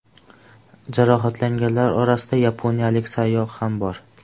Jarohatlanganlar orasida yaponiyalik sayyoh ham bor.